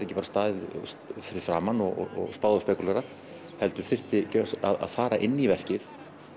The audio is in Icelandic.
ekki bara staðið fyrir framan og spáð og spekúlerað heldur þyrfti að fara inn í verkið